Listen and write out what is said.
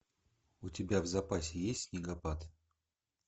у тебя в запасе есть снегопад